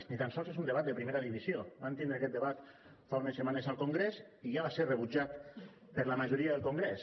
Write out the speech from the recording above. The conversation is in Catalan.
ni tan sols és un debat de primera divisió vam tindre aquest debat fa unes setmanes al congrés i ja va ser rebutjat per la majoria del congrés